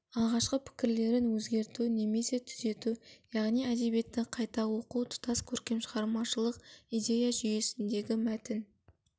алғашқы пікірлерін өзгерту немесе түзету яғни әдебиетті қайта оқу тұтас көркем шығармашылық идея жүйесіндегі мәтін